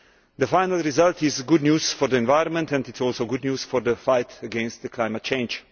The final result is good news for the environment and good news for the fight against climate change.